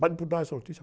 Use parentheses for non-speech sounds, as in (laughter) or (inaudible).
Pode, (unintelligible) dar essa notícia?